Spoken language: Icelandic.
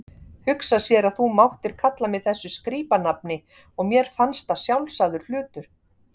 Hugsa sér að þú máttir kalla mig þessu skrípanafni og mér fannst það sjálfsagður hlutur.